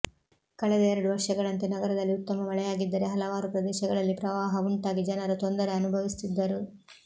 ಕಳೆದ ಎರಡು ವರ್ಷಗಳಂತೆ ನಗರದಲ್ಲಿ ಉತ್ತಮ ಮಳೆಯಾಗಿದ್ದರೆ ಹಲವಾರು ಪ್ರದೇಶಗಳಲ್ಲಿ ಪ್ರವಾಹ ಉಂಟಾಗಿ ಜನರು ತೊಂದರೆ ಅನುಭವಿಸುತ್ತಿದ್ದರು